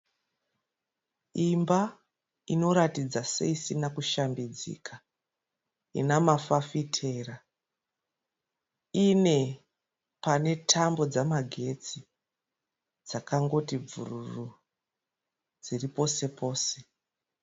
Imba inoratidza seisina kushambidzika. Ina mafafitera ,ine pane tambo dzama getsi dzakangoti bvururu dziri pose pose.